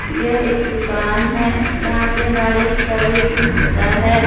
यह एक दुकान है यहां पे गाड़ी सर्विसिंग होता है।